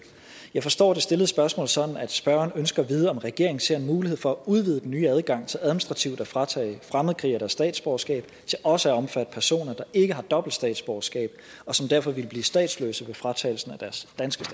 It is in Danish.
jeg forstår det stillede spørgsmål sådan at spørgeren ønsker at vide om regeringen ser en mulighed for at udvide den nye adgang til administrativt at fratage fremmedkrigere deres statsborgerskab til også at omfatte personer der ikke har dobbelt statsborgerskab og som derfor ville blive statsløse ved fratagelsen af deres danske